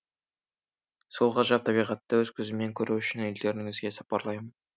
сол ғажап табиғатты өз көзіммен көру үшін елдеріңізге сапарлаймын